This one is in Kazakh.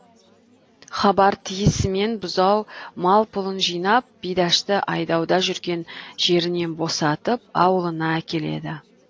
хабар тиісімен бұзау мал пұлын жинап бидашты айдауда жүрген жерінен босатып аулына әкеледі